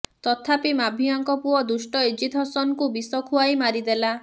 ତଥାପି ମାଭିଆଙ୍କ ପୁଅ ଦୁଷ୍ଟ ଏଜିଦ୍ ହସନଙ୍କୁ ବିଷ ଖୁଆଇ ମାରିଦେଲା